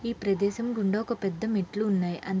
ఈ ప్రదేశం గుండా ఒక పెద్ద మెట్లు ఉన్నాయ్ అంతే--